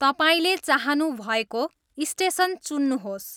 तपाईँले चाहनु भएको स्टेसन चुन्नुहोस्